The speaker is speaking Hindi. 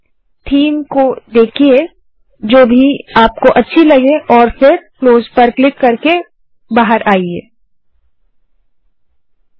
Themeथीम को देखिये जो भी आपको अच्छी लगे और फिर बाहर आने के लिए क्लोज़ बटन पर क्लिक करें